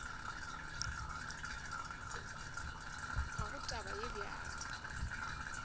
ga go taba ye bjalo